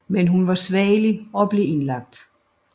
Men hun var svagelig og blev indlagt